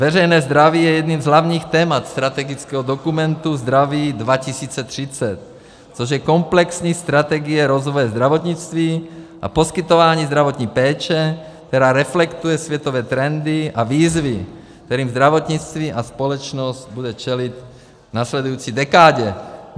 Veřejné zdraví je jedním z hlavních témat strategického dokumentu Zdraví 2030, což je komplexní strategie rozvoje zdravotnictví a poskytování zdravotní péče, která reflektuje světové trendy a výzvy, kterým zdravotnictví a společnost bude čelit v následující dekádě.